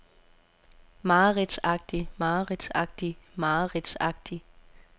mareridtsagtig mareridtsagtig mareridtsagtig